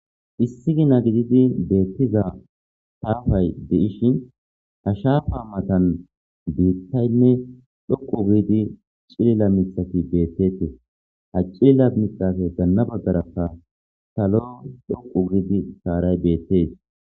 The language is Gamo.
Issi gina gididi beettiza taafay de'.ishin ha shaapa matan biittaynne dhoqu giidi cilila mitati beettete ha cilila mixafe ganna baggarakka talo dhoqu giidi saaray beettees.